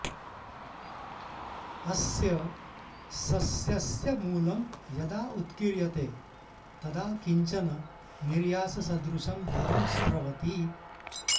अस्य सस्यस्य मूलं यदा उत्कीर्यते तदा किञ्चन निर्याससदृशं द्रवं स्रवति